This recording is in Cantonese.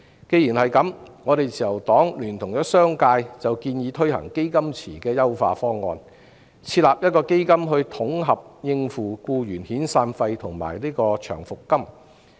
既然如此，自由黨聯同商界建議推行"基金池"的優化方案，設立一個基金來統合應付僱員的遣散費及長期服務金。